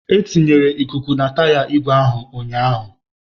E tinyere ikuku na taya igwe ahụ ụnyahụ